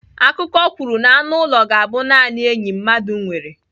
Akụkọ kwuru na anụ ụlọ ga-abụ naanị enyi mmadụ nwere.